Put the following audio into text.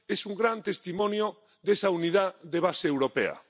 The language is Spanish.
Es un gran testimonio de esa unidad de base europea.